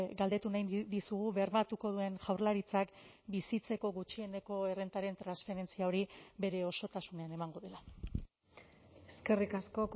galdetu nahi dizugu bermatuko duen jaurlaritzak bizitzeko gutxieneko errentaren transferentzia hori bere osotasunean emango dela eskerrik asko